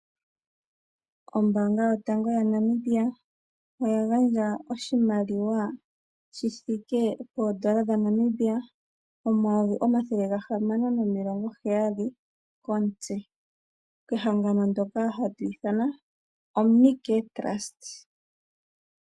Ombaanga yotango yaNamibia oya gandja oshimaliwa shi thike poodola dhanamibia omayovi omathele gamano nomilongo heyali komutse kehangano ndoka hatu ithana OMNICARE TRUST.